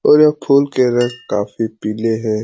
और ये फूल के रंग काफी पीले हें।